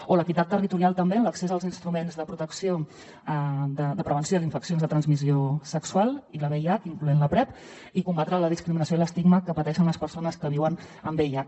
o l’equitat territorial també en l’accés als instruments de prevenció d’infeccions de transmissió sexual i el vih incloent la prep i combatre la discriminació i l’estigma que pateixen les persones que viuen amb vih